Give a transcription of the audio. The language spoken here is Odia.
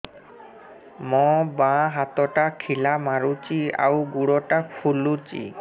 ମୋ ବାଆଁ ହାତଟା ଖିଲା ମାରୁଚି ଆଉ ଗୁଡ଼ ଟା ଫୁଲୁଚି